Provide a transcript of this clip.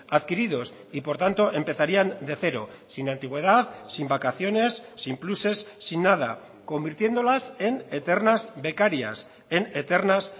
adquiridos y por tanto empezarían de cero sin antigüedad sin vacaciones sin pluses sin nada convirtiéndolas en eternas becarias en eternas